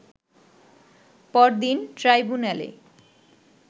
পরদিন ট্রাইব্যুনালে